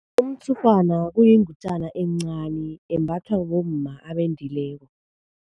Umtshurhwana uyingutjana encani embathwa bomma abendileko.